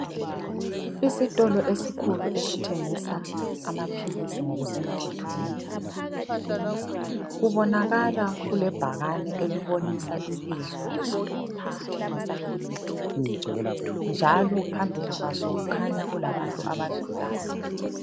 Isitolo esikhulu esithengisa amaphilisi ngokusemthethweni. Kubonakala kulebhakane elibobisa ibizo lesitolo esithengisa imithi njalo phambili kwaso kukhanya kulabantu abadlulayo.